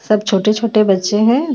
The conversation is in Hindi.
सब छोटे छोटे बच्चे हेभेस --